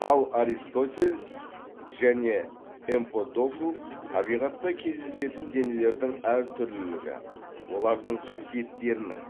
ал аристотель және эмподокл табиғатта кездесетін денелердің әр түрлілігі олардың қасиеттерінің